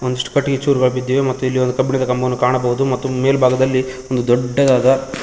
ಒಂದಿಷ್ಟು ಕಟ್ಟಿಗೆ ಚೂರುಗಳು ಬಿದ್ದಿವೆ ಮತ್ತು ಇಲ್ಲಿ ಕಬ್ಬಿಣದ ಕಂಬವನ್ನು ಕಾಣಬಹುದು ಮತ್ತು ಮೇಲ್ಭಾಗದಲ್ಲಿ ಒಂದು ದೊಡ್ಡದಾದ.